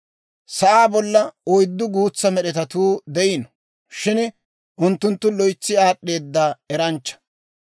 Sa'aa bolla oyddu guutsa med'etatuu de'iino; shin unttunttu loytsi aad'd'eeda eranchcha.